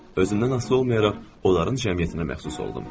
Özümdən asılı olmayaraq onların cəmiyyətinə məxsus oldum.